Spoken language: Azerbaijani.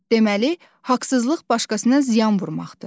Deməli, haqsızlıq başqasına ziyan vurmaqdır.